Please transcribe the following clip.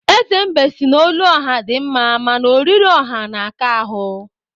Eze mbe si na olu ọha dị mma, mana oriri ọha na-aka ahụ